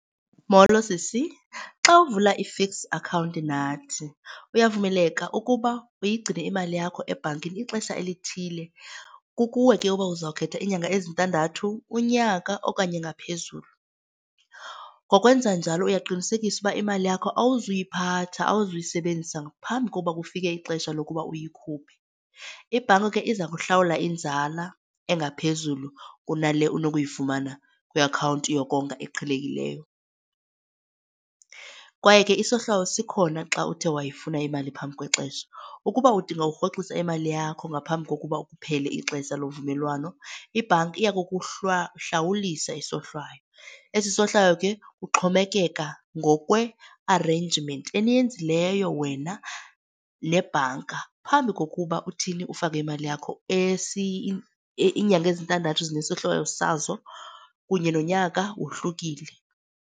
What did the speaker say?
Molo, sisi. Xa uvula i-fixed account nathi uyavumeleka ukuba uyigcine imali yakho ebhankini ixesha elithile. Kukuwe ke ukuba uzawukhetha iinyanga ezintandathu, unyaka, okanye ngaphezulu. Ngokwenza njalo uyaqinisekisa ukuba imali yakho awuzuyiphatha, awuzuyisebenzisa ngaphambi kokuba kufike ixesha lokuba uyikhuphe. Ibhanka ke iza kuhlawula inzala engaphezulu kunale unokuyifumana kwi-akhawunti yokonga eqhelekileyo. Kwaye ke isohlwayo sikhona xa uthe wayifuna imali phambi kwexesha. Ukuba udinga okurhoxisa imali yakho ngaphambi kokuba kuphele ixesha lovumelwano ibhanki yokuhlawulisa isohlwayo, esi sohlwayo ke kuxhomekeka ngokwe-arrangement eniyenzileyo wena nebhanka phambi kokuba uthini, ufake imali yakho iinyanga ezintandathu zinesohlwayo sazo kunye nonyaka wohlukile.